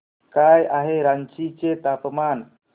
काय आहे रांची चे तापमान